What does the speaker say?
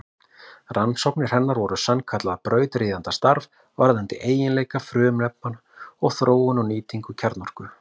Rannsóknir hennar voru sannkallað brautryðjendastarf varðandi eiginleika frumefna og þróun og nýtingu kjarnorku.